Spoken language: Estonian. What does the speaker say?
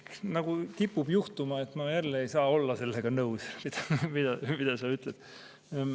Nagu kipub ikka juhtuma, ma jälle ei saa olla nõus sellega, mida sa ütled.